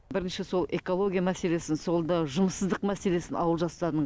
бірінші сол экология мәселесін соңында жұмыссыздық мәселесін ауыл жастарының